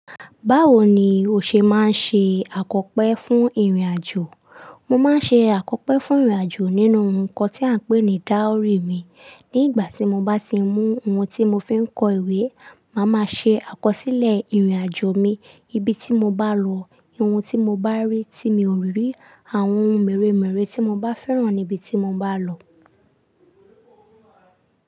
Báwo ni o ṣe máa ń ṣe àkọ́pé fún ìrìn-àjò? Mo máa ń ṣe àkọ́pé fún ìrìn-àjò nínú ohún kan tí à ń pè ní dáúrì mi. Ní ìgbà tí mo bá ti mú ohún tí mo fi ń kọ ìwé, màá máa ṣe àkọsílẹ̀ ìrìn-àjò mi níbi tí mo bá lọ, ohun tí mo bá rí tí mi ò rí, àwọn ohún mèremère tí mo bá fẹ́ràn níbi tí mo bá lọ.